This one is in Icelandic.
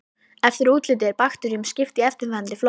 Eftir útliti er bakteríum skipt í eftirfarandi flokka